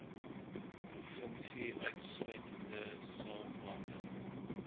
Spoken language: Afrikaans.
provinsie insluitende saoglande